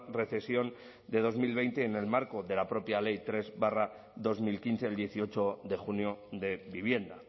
recesión de dos mil veinte en el marco de la propia ley tres barra dos mil quince del dieciocho de junio de vivienda